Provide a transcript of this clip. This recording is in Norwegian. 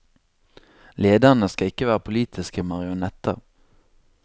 Lederne skal ikke være politiske marionetter.